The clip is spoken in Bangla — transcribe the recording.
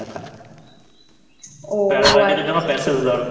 Paragliding -এর জন্য Passage দরকার